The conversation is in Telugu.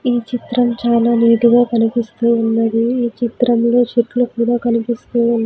ఈ చిత్రం చాలా నీట్ గా కనిపిస్తూ ఉన్నది ఈ చిత్రంలో చెట్లు కూడా కనిపిస్తూ--